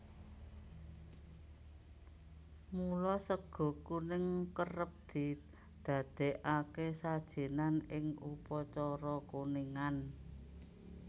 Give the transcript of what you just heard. Mula sega kuning kerep didadékake sajènan in upacara kuningan